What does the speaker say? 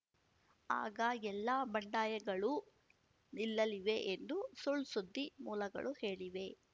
ಆಗ ಎಲ್ಲ ಬಂಡಾಯಗಳೂ ನಿಲ್ಲಲಿವೆ ಎಂದು ಸುಳ್‌ಸುದ್ದಿ ಮೂಲಗಳು ಹೇಳಿವೆ